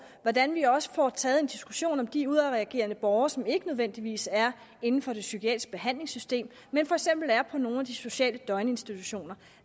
hvordan vi også får taget en diskussion om de udadreagerende borgere som ikke nødvendigvis er inden for det psykiatriske behandlingssystem men for eksempel er på nogle af de sociale døgninstitutioner